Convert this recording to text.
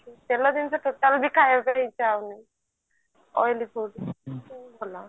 ତେଲ ଜିନିଷ total ବି ଖାଇବାକୁ ହିଁ ଇଛା ହଉନି ଏମତି ଭଲ